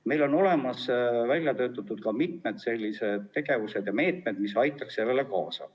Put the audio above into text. Meil on välja töötatud ka mitmed sellised tegevused ja meetmed, mis aitaks sellele kaasa.